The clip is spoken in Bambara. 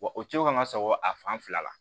Wa o cogo kan ŋa sɔgɔ a fan fila la